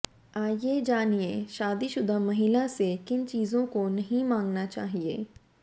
आइए जानिए शादीशुदा महिला से किन चीजों को नहीं मांगना चाहिए